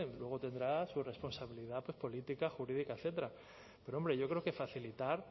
luego tendrá su responsabilidad política jurídica etcétera pero hombre yo creo que facilitar